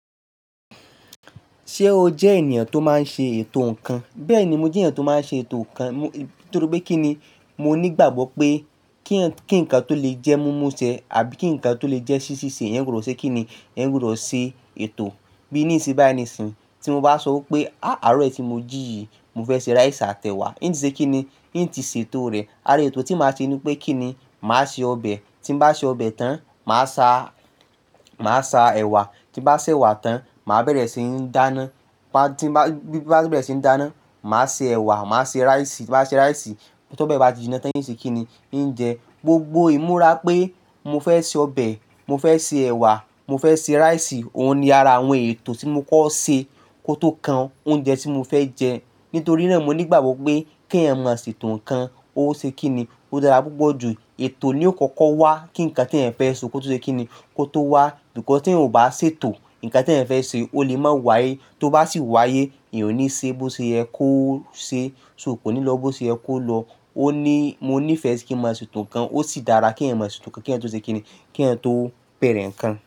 Ṣé o jẹ́ ènìyàn tó máa ń ṣe ètò ǹkan? Bẹ́ẹ̀ni, mo jẹ́ ènìyàn tó máa ń ṣe ètò ǹkan ni. Nítorí pé kí ni? Mo ní gbàgbọ́ pé kí ǹkan tó lè jẹ́ mumu ṣe àbí kí ǹkan tó lè jẹ́ si ṣiṣe, ẹ́eyan gbodo ṣe kí ni. Ẹ́ n kò rò ṣe ètò. Bí níisínyi báyi níisìnyi. Tí mo bá sọ pé a! Àárọ̀ yìí tí mo jí yìí, mo fẹ́ se ráìsì àtẹ̀wà. Ǹtí ṣe kí ni ǹtí ṣe ètò rẹ̀. Àra ètò tí màá ṣe ni pé kí ni, màá ṣe ọbẹ̀, tí n bá ṣe ọbẹ̀ tán, màá sa, màá sa ẹ̀wà, tí n bá sewà tán, màá bẹ̀rẹ̀ sí ní dáná. Bí n bàá n ti bẹ̀rẹ̀ sí ní dáná, màá se ẹ̀wà, màá se ráìsì. Bí nbà ti ṣe ráìsì, tó be bá ti jiná tán, ń ṣe kí ni? Ǹ jẹ. Gbogbo imurà pé mo fẹ́ se ọbẹ̀, mo fẹ́ se ẹ̀wà, mo fẹ́ se ráìsì. Òun ni ara àwọn ètò tí mo kọ́ ṣe kó tó kan oúnjẹ tí mo fẹ́ jẹ. Nítorí náà mo ní gbàgbọ́ pé kí ẹ̀yàn maa sètò ǹkan, ó ṣe kí ni? Ó dára púpọ̀ jù. Ètò ni ó kọ́kọ́ wá kí ǹkan tí eeyan fẹ́ ṣe kó tó ṣe kí ni kó tó wá. Nkan ti eeyan ò bá ṣètò ǹkan tí ẹ̀eyan fẹ́ ṣe, ó lè má wáyé. Tó bá sì wáyé, eeyan ò ní ṣe bó ṣe yẹ kó ṣe, ṣo, ko ní lọ bó ṣe yẹ kó lọ. Ó ní, mo nífẹ̀ẹ́ si kí n mo sètò ǹkan. Ó sì dára kí ẹ̀eyàn mọ sètò ǹkan. Kí ẹ̀eyàn tó ṣe kí ni. Kí ẹ̀yàn tó bẹ̀rẹ̀ ǹkan.